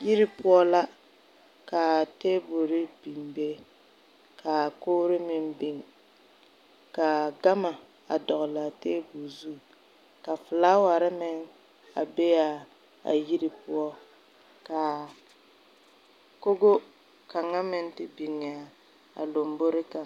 Yire poʊ la. ka a tabule biŋ be. Ka a kogre meŋ biŋ. Ka a gama a dogle a tabul zu. Ka fulaware meŋ a be a yire poʊ. Ka a kogo kanga meŋ te biŋ a lombore kanga